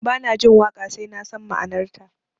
Ba na jin waƙa sai na san ma'anarta